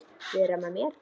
Vera með mér?